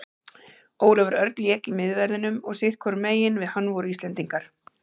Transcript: Ólafur Örn lék í miðverðinum og sitthvorum megin við hann voru Íslendingar.